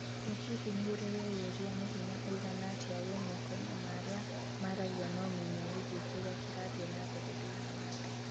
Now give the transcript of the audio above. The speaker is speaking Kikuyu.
ĩ hihi nĩurĩ weyũria nĩ hĩnya ũigana atĩa wĩ moko-inĩ ma arĩa maragĩa na ũmenyo wĩgiĩ kĩrĩa kĩrathiĩ na mbere thĩiniĩ wa thĩ?